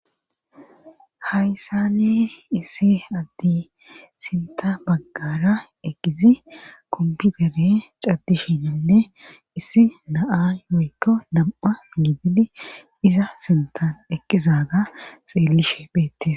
hayssani issi addi sinta baggara eqqizi kompiutere caddishininne issi naa moykko nam7a nibidi iza sintan eqqizaga xeellishe beettis